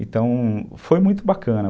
Então, foi muito bacana.